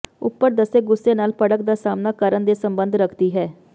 ਉਪਰ ਦੱਸੇ ਗੁੱਸੇ ਨਾਲ ਭੜਕ ਦਾ ਸਾਮ੍ਹਣਾ ਕਰਨ ਦੇ ਸੰਬੰਧ ਰੱਖਦੀ ਹੈ